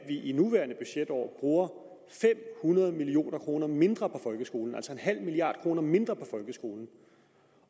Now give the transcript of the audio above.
i det nuværende budgetår bruger fem hundrede million kroner mindre på folkeskolen altså bruger en halv milliard kroner mindre på folkeskolen